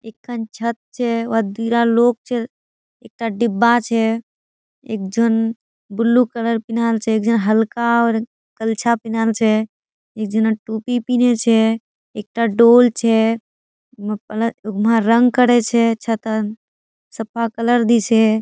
एकखान छत छे वात दुरा लोग छे एकटा डिब्बा छे एक झन ब्लू कलर पिनहाल छे एकझन हल्का आर कलछा पिनाल छे एकझन टोपी पिने छे एकटा डोल छे उमा रंग करेछे छतोत सफा कलर दिछे।